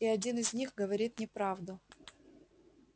и один из них говорит неправду